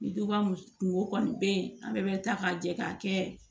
Ni duba mu kungo kɔni be ye an bɛɛ be ta ka jɛ k'a kɛ